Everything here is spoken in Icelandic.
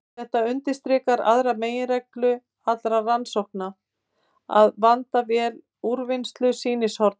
Þetta undirstrikar aðra meginreglu allra rannsókna: að vanda vel úrvinnslu sýnishorna.